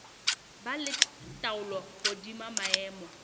ba le taolo hodima maemo